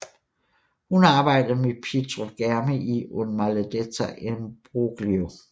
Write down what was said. Hun arbejdede med Pietro Germi i Un maledetto imbroglio